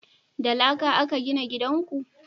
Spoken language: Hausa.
da laƙa a ka gina gidan ku?